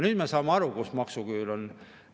Nüüd me saame aru, kus maksuküür on.